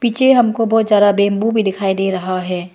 नीचे हमको बहुत ज्यादा बंबू भी दिखाई दे रहा है।